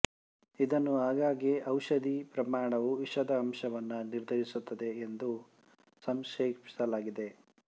ಇದನ್ನು ಆಗಾಗ್ಗೆ ಔಷದಿಯ ಪ್ರಮಾಣವು ವಿಷದ ಅಂಶವನ್ನು ನಿರ್ಧರಿಸುತ್ತದೆ ಎಂದು ಸಂಕ್ಷೇಪಿಸಲಾಗಿದೆ